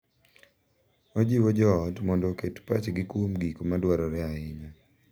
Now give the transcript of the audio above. Ojiwo jo ot mondo oket pachgi kuom gik ma dwarore ahinya: